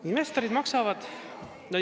Investorid maksavad.